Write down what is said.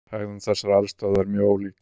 Hegðun þessara eldstöðva er mjög ólík.